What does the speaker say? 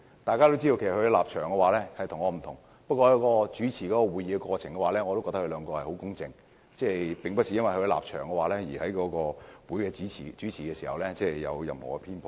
大家都知道，他們的立場與我不同。不過，在主持會議的過程中，我覺得他們很公正，並沒有因為立場不同而在主持會議時有任何偏頗。